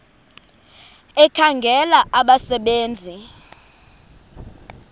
ekhangela abasebe nzi